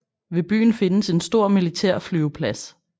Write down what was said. Ved byen findes en stor militærflyveplads